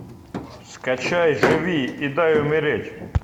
скачай живи и дай умереть